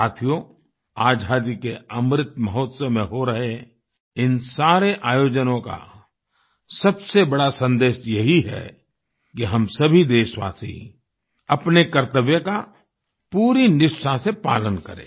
साथियो आज़ादी के अमृत महोत्सव में हो रहे इन सारे आयोजनों का सबसे बड़ा सन्देश यही है कि हम सभी देशवासी अपने कर्तव्य का पूरी निष्ठा से पालन करें